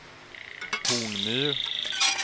Hornmyr